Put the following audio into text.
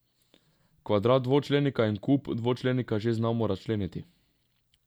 Kvadrat dvočlenika in kub dvočlenika že znamo razčleniti.